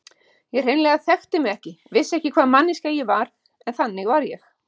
Ég hreinlega þekkti mig ekki, vissi ekki hvaða manneskja ég var, en þannig var ég.